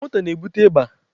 Anwụ nta na-ebute ịba.